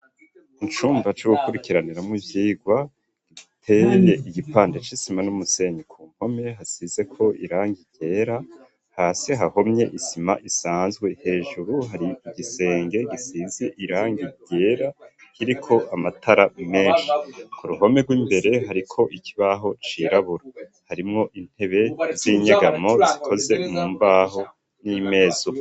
Icumba co gukurikiranira mwo ivyigwa giteye igipande c'isima n'umusenyi ku mpome hasize ko irangi ryera hasi hahomye isima isanzwe hejuru hari igisenge gisizi irangi ryera iriko amatara menshi ku ruhome rw'imbere hari ko ikibaho cirabura harimwo intebe z'inyegamo zikoze mumbaho n'imeza.